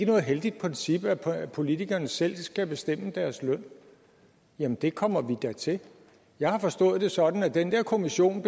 noget heldigt princip at politikerne selv skal bestemme deres løn jamen det kommer vi da til jeg har forstået det sådan at den der kommission